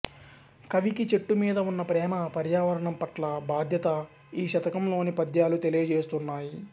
కవికి చెట్టు మీద ఉన్న ప్రేమ పర్యావరణం పట్ల బాధ్యత ఈ శతకంలోని పద్యాలు తెలియజేస్తున్నాయి